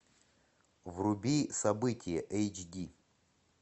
вруби события эйч ди